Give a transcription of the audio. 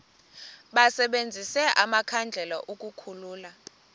basebenzise amakhandlela ukukhulula